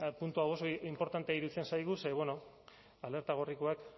puntu hau oso inportantea iruditzen zaigu ze alerta gorrikoek